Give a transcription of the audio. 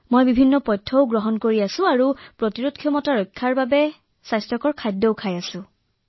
ৰোগ প্ৰতিৰোধক ক্ষমতা বৃদ্ধিৰ বাবে মই কাঢ়াও খাই আছো আৰু স্বাস্থ্যকৰ খাদ্যও গ্ৰহণ কৰি আছো